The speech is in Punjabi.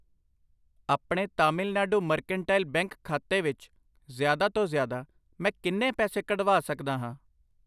ਆਪਣੇ ਤਾਮਿਲਨਾਡੂ ਮਰਕੈਂਟਾਈਲ ਬੈਂਕ ਖਾਤੇ ਵਿੱਚ ਜ਼ਿਆਦਾ ਤੋਂ ਜ਼ਿਆਦਾ, ਮੈਂ ਕਿੰਨੇ ਪੈਸੇ ਕੱਢਵਾ ਸਕਦਾ ਹਾਂ ?